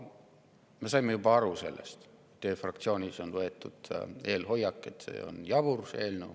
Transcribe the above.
Me sellest saime juba aru, et teie fraktsioonis on võetud hoiak, et see eelnõu on jabur.